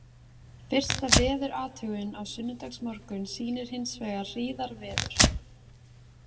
Fyrsta veðurathugun á sunnudagsmorgun sýnir hins vegar hríðarveður.